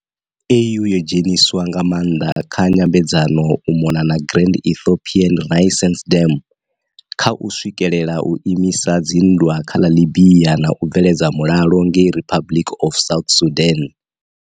AU yo dzheniswa nga maanḓa kha nyambedzano u mona na Grand Ethiopian Renaissance Dam, kha u swikelela u imisa dzi nndwa kha ḽa Libya na u bveledza mulalo ngei Republic of South Sudan.